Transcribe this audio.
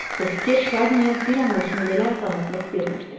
Bu fikir Şarniyə bir an olsun belə rahatlıq vermirdi.